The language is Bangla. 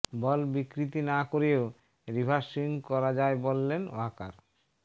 বল বিকৃতি না করেও রিভার্স সুইং করা যায় বললেন ওয়াকার